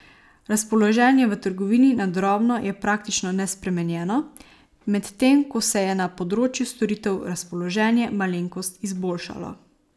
Razpoloženje v trgovini na drobno je praktično nespremenjeno, medtem ko se je na področju storitev razpoloženje malenkost izboljšalo.